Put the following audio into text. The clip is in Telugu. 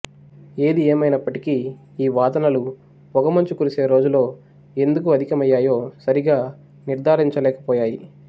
ఏది ఏమైనప్పటికీ ఈ వాదనలు పొగమంచు కురిసే రోజులు ఎందుకు అధికమైయ్యాయో సరిగా నిర్ధారించ లేక పోయాయి